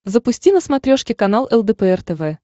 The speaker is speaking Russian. запусти на смотрешке канал лдпр тв